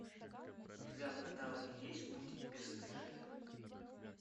у тебя в каталоге есть мультик бесстыжие